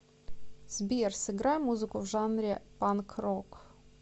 сбер сыграй музыку в жанре панк рок